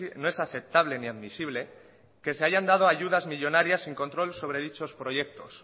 no es aceptable ni admisible que se hayan dado ayudas millónarias sin control sobre dichos proyectos